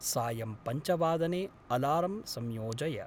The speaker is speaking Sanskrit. सायं पञ्चवादने अलार्म् संयोजय।